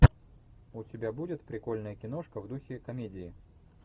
у тебя будет прикольная киношка в духе комедии